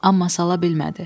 Amma sala bilmədi.